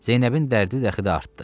Zeynəbin dərdi dəxidə artdı.